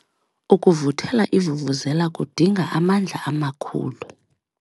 Ukuvuthela ivuvuzela kudinga amandla amakhulu.